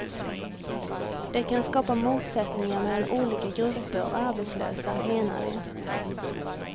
Det kan skapa motsättningar mellan olika grupper av arbetslösa, menar de.